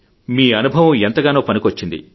మీ అనుభవం మీకు ఎంతగానో పనికి వచ్చింది